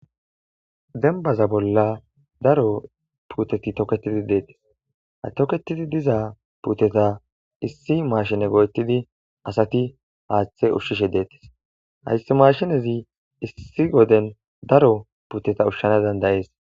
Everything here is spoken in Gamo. Dembaza bolla daro puuteti toketidi detesi. Ha toketidi diza puuteta issi mashine go'etidi asati haathe ushishe detesi. Haysa mashinezi issi wodeni daro puuteta ushana danda'es.